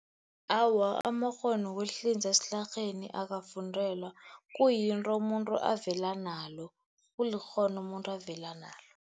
Awa, amakghono wokuhlinza esilarheni akafundelwa. Kuyinto umuntu avela nalo, kulikghono umuntu avela nalo.